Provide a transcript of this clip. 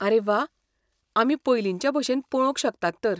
आरे व्वा, आमी पयलींच्या भशेन पळोवंक शकतात तर.